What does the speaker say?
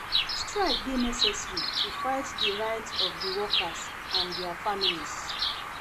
Strike dey necessary to fight for di rights of di workers and dia families.